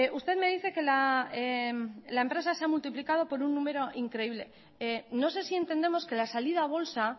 usted me dice que la empresa se ha multiplicado por un número increíble no sé si entendemos que la salida a bolsa